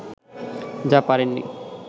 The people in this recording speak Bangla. যা পারেননি